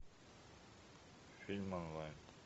фильм онлайн